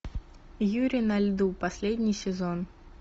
юрий на льду последний сезон